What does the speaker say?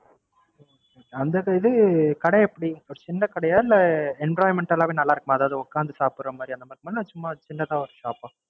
அந்த இது கடை எப்படி ஒரு சின்ன கடையா இல்ல Environmental வே நல்லாருக்குமா அதாவது உக்கார்ந்து சாப்டர மாதிரி அந்த மாதிரி இருக்குமா இல்ல சும்மா சின்னதா ஒரு Shop ஆ